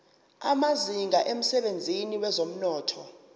amazinga emsebenzini wezomnotho